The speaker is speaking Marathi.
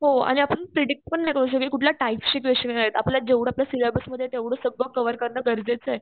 हो आणि आपण प्रिडिक्ट पण नाही करू शकत कुठल्या टाईपचे क्वेश्चने आपल्या जेव्हडा आपल्या सिल्याबसमध्ये तेव्हडा सगळं कव्हर करण गरजेचं आहे.